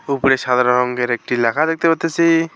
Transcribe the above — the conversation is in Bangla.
উপরে সাদা রঙ্গের একটি ল্যাখা দেখতে পারতাসি।